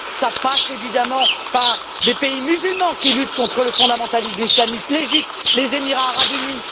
Cela passe évidemment par des pays musulmans qui luttent contre le fondamentalisme islamiste l'Égypte, les Émirats arabes unis.